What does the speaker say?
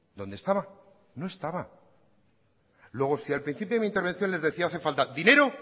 dónde estaba no estaba luego si al principio de mi intervención les decía hace falta dinero